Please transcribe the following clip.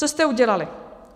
Co jste udělali?